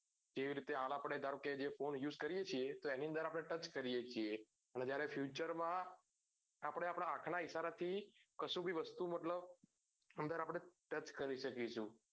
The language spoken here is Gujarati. જે રીતે આમ આપડે જે phone use કરીએ છીએ એની અંદર આપડે touch કરીએ છીએ કે જ્યારે future માં આપડે આપદા હાથ ના ઇસરા થી કશું ભી વસ્તુ મતલબ અંદર આપડે press કરી શકીએ છીએ